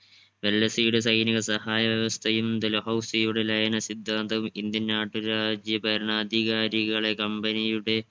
വെൽഹസിയുടെ സൈനിക സഹായ വ്യവസ്ഥയും ഡൽഹൗസിയുടെ ലയന സിദ്ധാന്തവും indian നാട്ടുരാജ്യ ഭരണാധികാരികളെ company യുടെ